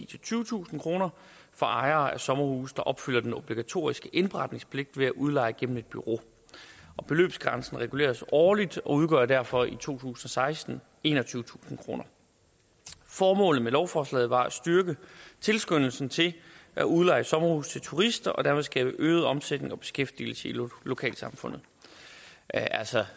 til tyvetusind kroner for ejere af sommerhuse der opfylder den obligatoriske indberetningspligt ved at udleje gennem et bureau beløbsgrænsen reguleres årligt og udgør derfor i to tusind og seksten enogtyvetusind kroner formålet med lovforslaget var at styrke tilskyndelsen til at udleje sommerhuse til turister og dermed skabe øget omsætning og beskæftigelse i lokalsamfundet altså